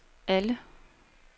alle